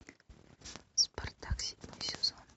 спартак седьмой сезон